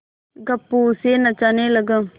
गप्पू उसे नचाने लगा